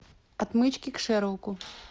отмычки к шерлоку